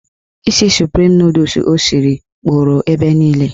Isi suprim nọdụs o siri kpọrọ ebe niile.